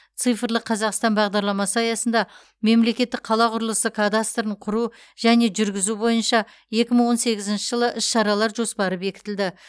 цифрлық қазақстан бағдарламасы аясында мемлекеттік қала құрылысы кадастрын құру және жүргізу бойынша екі мың он сегізінші жылы іс шаралар жоспары бекітілді